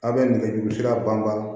A bɛ nɛgɛ juru sira ban